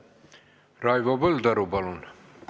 Raivo Põldaru, palun!